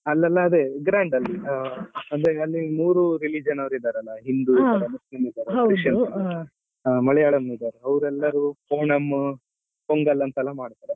ಅಲ್ಲೆಲ್ಲ ಅದೇ grand ಅಂದ್ರೆ ಅಲ್ಲಿ ಮೂರು religion ಅವ್ರು ಇದ್ದಾರಲ್ಲ ಹಿಂದೂ ಇದ್ದಾರೆ ಮುಸ್ಲಿಮ್ ಇದ್ದಾರೆ Christian ಇದ್ದಾರೆ ಮಲಯಾಳಂ ಇದ್ದಾರೆ ಅವರೆಲ್ಲರೂ ಓಣಂ ಪೊಂಗಲ್ ಅಂತೆಲ್ಲ ಎಲ್ಲಾ ಮಾಡ್ತಾರೆ.